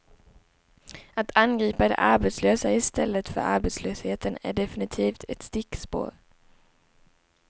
Att angripa de arbetslösa i stället för arbetslösheten är definitivt ett stickspår.